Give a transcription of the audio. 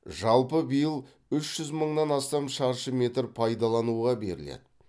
жалпы биыл үш жүз мыңнан астам шаршы метр пайдалануға беріледі